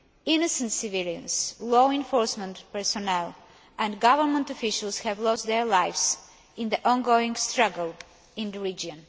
Innocent civilians, law enforcement personnel and government officials have lost their lives in the ongoing struggle in the region.